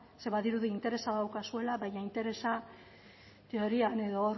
ze badirudi interesa daukazuela baina interesa teorian edo hor